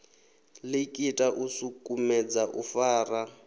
likita u sukumedza u fara